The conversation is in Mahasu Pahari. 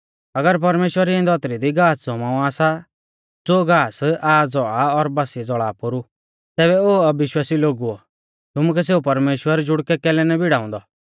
अगर परमेश्‍वर इऐं धौतरी दी घास ज़मावा सा ज़ो घास आज़ औआ और बासिऐ ज़ौल़ा पोरु तैबै ओ अविश्वासी लोगुओ तुमुकै सेऊ परमेश्‍वर जुड़कै कैलै ना भिड़ाऊंदौ